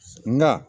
Nka